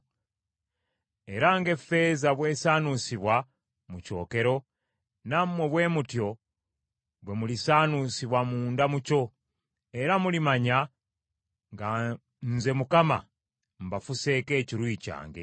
Era ng’effeeza bw’esaanuusibwa mu kyokero, nammwe bwe mutyo bwe mulisaanuusibwa munda mu kyo, era mulimanya nga Nze Mukama mbafuseeko ekiruyi kyange.’ ”